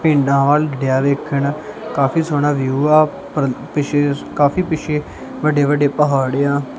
ਪਿੰਡਾਂ ਵੱਲ ਡਿਆ ਵੇਖਣ ਕਾਫੀ ਸੋਹਣਾ ਵਿਊ ਆ ਪਰ ਪਿੱਛੇ ਕਾਫੀ ਪਿੱਛੇ ਵੱਡੇ ਵੱਡੇ ਪਹਾੜ ਏ ਆ।